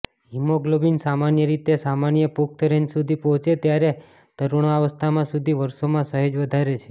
haemoglobin સામાન્ય રીતે સામાન્ય પુખ્ત રેન્જ સુધી પહોંચે ત્યારે તરુણાવસ્થા સુધી વર્ષોમાં સહેજ વધારે છે